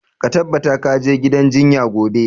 Ka tabbata ka je gidan jinya gobe!